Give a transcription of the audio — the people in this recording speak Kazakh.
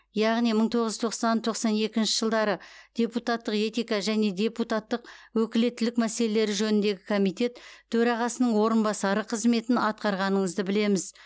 яғни мың тоғыз жүз тоқсан тоқсан екінші жылдары депутаттық этика және депутаттық өкілеттілік мәселелері женіндегі комитет төрағасының орынбасары қызметін атқарғаныңызды білеміз